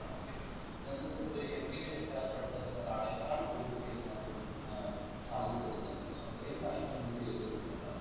ആണെങ്കിൽ നിങ്ങക് ഒരു MBAinHR പഠിചെറങ്ങുന്ന ഒരാളെകാൾ കൂടുതൽ skill ഇതിനകത്തൂടെ ഏർ ആർജിച് എടുക്കാൻ പറ്റും so അത്രയും കാര്യങ്ങൾ നമ്മൾ ചെയ്തുകൊടുക്കുന്നുണ്ട്